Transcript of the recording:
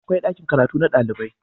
akwai ɗakin karatu na ɗalibai